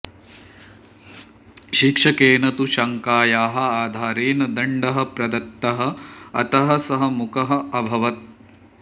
शिक्षकेन तु शङ्कायाः आधारेण दण्डः प्रदत्तः अतः सः मूकः अभवत्